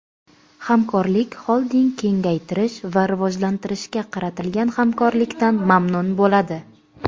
Hamkorlik Xolding kengaytirish va rivojlantirishga qaratilgan hamkorlikdan mamnun bo‘ladi.